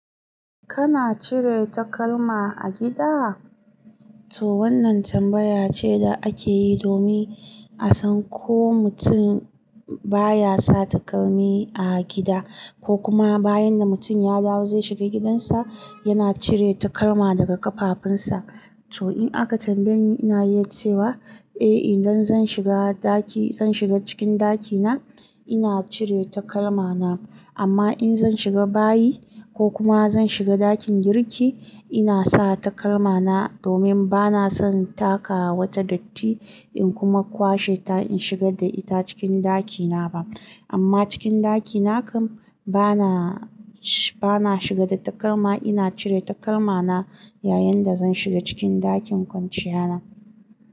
Kana cire takalma a gida? To wannan tambaya ce da ake yi domin a san ko mutum baya sa takalmi a gida ko kuma bayan da mutum ya dawo zai shiga gidansa, yana cire takalma daga ƙafafunsa. To in aka tambaye ni, ina yi cewa eh idan zan shiga ɗaki, zan shiga cikin ɗakina, ina cire takalmana. Amma in zan shiga bayi ko kuma zan shiga ɗakin girki, ina sa takalmana domin bana son taka wata datti in kuma kwashe ta in shiga da ita cikin ɗakina ba. Amma cikin ɗakina kam bana, bana shiga da takalma. Ina cire takalmana yayin da zan shiga cikin ɗakin kwanciyana.